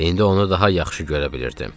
İndi onu daha yaxşı görə bilirdim.